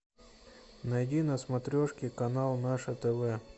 найди на смотрешке канал наше тв